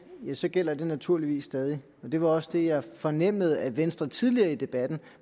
så gælder det naturligvis stadig det var også det jeg fornemmede at venstre tidligere i debatten